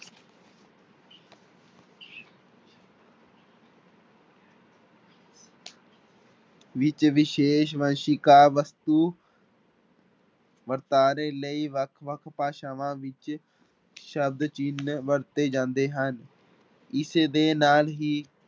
ਵਿੱਚ ਵਿਸ਼ੇਸ਼ ਵੰਸ਼ਿਕਾ ਵਸਤੂ ਵਰਤਾਰੇ ਲਈ ਵੱਖ ਵੱਖ ਭਾਸ਼ਾਵਾਂ ਵਿੱਚ ਸ਼ਬਦ ਚਿੰਨ ਵਰਤੇ ਜਾਂਦੇ ਹਨ, ਇਸਦੇ ਨਾਲ ਹੀ